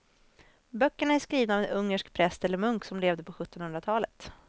Böckerna är skrivna av en ungersk präst eller munk som levde på sjuttonhundratalet.